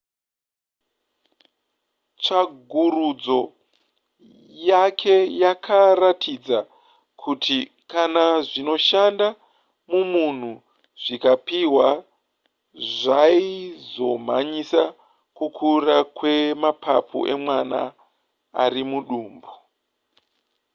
tsvagurudzo yake yakaratidza kuti kana zvinoshanda mumunhu zvikapihwa zvaizomhanyisa kukura kwemapapu emwana ar mudumbu